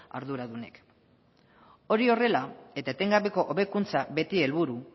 arduradunek hori horrela eta etengabeko hobekuntza beti helburu